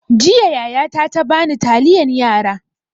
Jiya yaya ta ta bani taliyan yara.